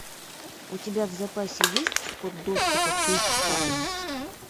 у тебя в запасе есть код доступа кейптаун